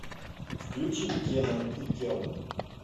включи кенан и кел